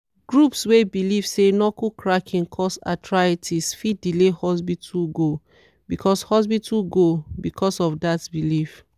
groups wey believe say knuckle cracking cause arthritis fit delay hospital go because hospital go because of that belief.